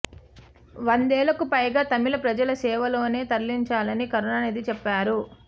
వందేళ్లకు పైగా తమిళ ప్రజల సేవలోనే తరలించాలని కరుణానిధి చెప్పేవారు